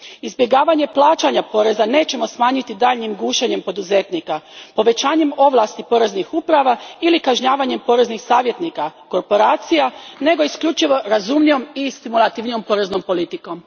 Izbjegavanje plaćanja poreza nećemo smanjiti daljnjim gušenjem poduzetnika, povećanjem ovlasti poreznih uprava ili kažnjavanjem poreznih savjetnika, korporacija, nego isključivo razumnijom i stimulativnijom poreznom politikom.